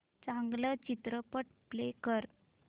चांगला चित्रपट प्ले कर